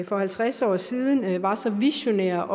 for halvtreds år siden var så visionær